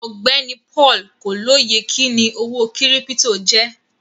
Ọgbẹni Paul kò lóyè kíni owó kírípítò jẹ.